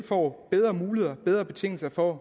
får bedre muligheder og bedre betingelser for